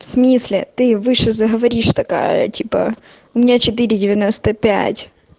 в смысле ты выше заговоришь такая типа у меня четыре девяносто пять